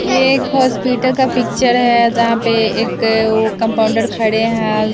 ये एक हॉस्पिटल का पिक्चर है यहां पे एक वो कंपाउंडर खड़े हैं।